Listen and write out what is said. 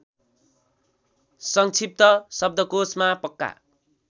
सङ्क्षिप्त शब्दकोशमा पक्का